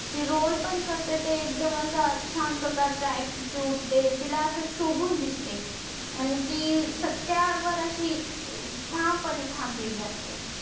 ती roll पण कारते तर एकदम असा छान प्रकरचा attitude ते तिला अस शोभून दिसते आणि ती सत्या वर असि ठाम पणे थांबलेली असते.